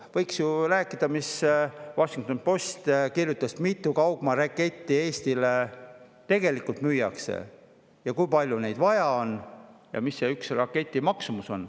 Võiks ju rääkida sellest, mis The Washington Post kirjutas: mitu kaugmaaraketti Eestile tegelikult müüakse, kui palju neid vaja on ja mis on ühe raketi maksumus.